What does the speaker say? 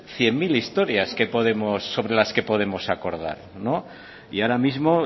cien mil historias sobre las que podemos acordar y ahora mismo